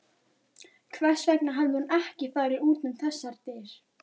Hvers vegna hafði hún ekki farið út um þessar dyr?